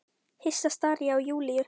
Hissa stari ég á Júlíu.